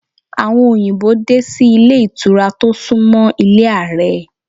Àwọn òyìnbó dé sí ilé ìtura tó sún mọ́ ilé Ààrẹ.